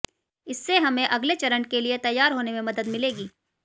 इससे हमे अगले चरण के लिए तैयार होने में मदद मिलेगी